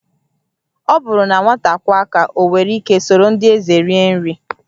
Ọ bụrụ na nwata kwọọ aka, o nwere ike soro ndị eze rie nri